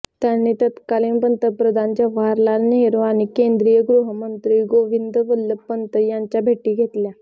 त्यांनी तत्कालीन पंतप्रधान जवाहरलाल नेहरू आणि केंद्रीय गृहमंत्री गोविंद वल्लभ पंत यांच्या भेटी घेतल्या